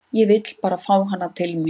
Ég vil bara fá hana til mín.